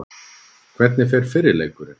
Hvernig fer fyrri leikurinn?